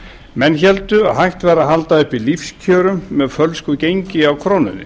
menn héldu að hægt væri að halda uppi lífskjörum með fölsku gengi á krónunni